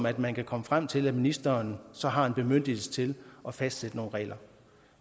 at man kan komme frem til at ministeren så har en bemyndigelse til at fastsætte nogle regler